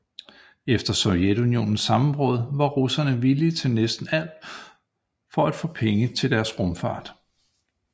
Efter Sovjetunionens sammenbrud var russerne villige til næsten alt for at få penge til deres rumfart